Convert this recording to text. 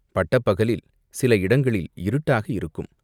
பட்டப்பகலில் சில இடங்களில் இருட்டாக இருக்கும்.